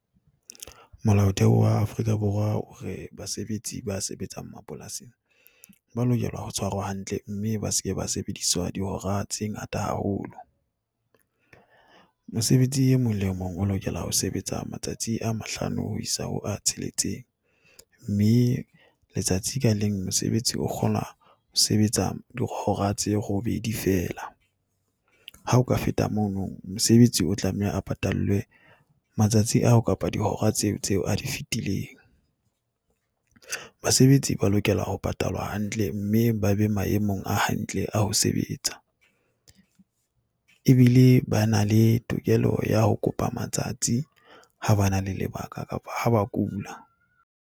Molaotheo wa Afrika Borwa o re basebetsi ba sebetsa mapolasing, ba lokela ho tshwarwa hantle mme ba se ke ba sebediswa dihora tse ngata haholo. Mosebetsi e mong le mong o lokela ho sebetsa matsatsi a mahlano ho isa ho a tsheletseng. Mme letsatsi ka leng mosebetsi o kgona ho sebetsa dihora tse robedi feela. Ha o ka feta mono, mosebetsi o tlameha a patallwe matsatsi ao kapa dihora tseo a di fetileng. Basebetsi ba lokela ho patalwa hantle mme ba be maemong a hantle a ho sebetsa. Ebile ba na le tokelo ya ho kopa matsatsi ha ba na le lebaka kapa ha ba kula.